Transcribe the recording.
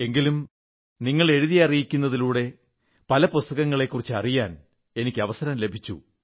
എങ്കിലും നിങ്ങൾ എഴുതി അറിയിക്കുന്നതിലൂടെ പല പുസ്തകങ്ങളെക്കുറിച്ച് അറിയാൻ എനിക്ക് അവസരം ലഭിച്ചു